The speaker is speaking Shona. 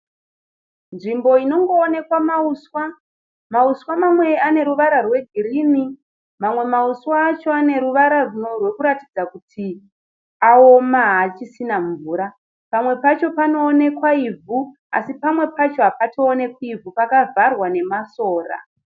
Nzvimbo inongo onekwa mauswa. Mauswa mamwe ane ruvara rwegirini, mamwe mauswa acho ane ruvara runo rwekuratidza kuti aoma haasisisana mvura. Pamwe pacho panowonekwa ivhu asi pamwe pacho hapatoonekwi ivhu pakavharwa nemasora.